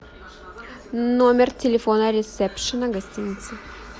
номер телефона ресепшена гостиницы